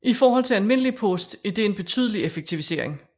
I forhold til almindelig post er det en betydelig effektivisering